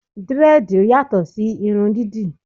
Dírẹ́dìì yàtò sí irun dídì.